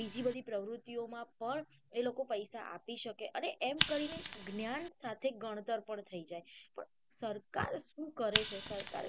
બીજી બધી પ્રવૃતિઓ માં પણ એ લોકો પૈસા આપસકે એ એમ કરીને જ્ઞાન સાથે ગણતર પણ થઇ જાય તો સરકાર સુ કરે છે સરકાર.